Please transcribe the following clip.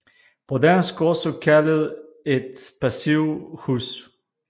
På dansk også kaldet et passivhus